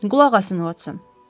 Qulaq asın, Uotson.